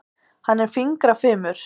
Hann er fingrafimur.